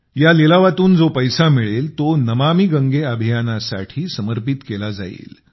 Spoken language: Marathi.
या लिलावातून जो पैसा मिळेल तो नमामि गंगे अभियानासाठी समर्पित केला जाईल